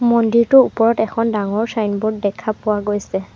মন্দিৰটোৰ ওপৰত এখন ডাঙৰ চাইনবোৰ্ড দেখা পোৱা গৈছে।